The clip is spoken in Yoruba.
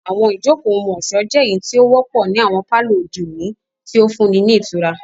Àwọn ijoko ohun-ọṣọ jẹ eyiti o wọpọ ni awọn palọ ode oni, ti o funni ni itura.